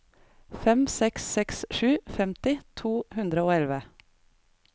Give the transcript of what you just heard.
fem seks seks sju femti to hundre og elleve